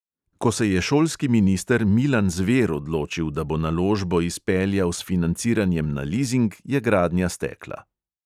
Ko se je šolski minister milan zver odločil, da bo naložbo izpeljal s financiranjem na lizing, je gradnja stekla.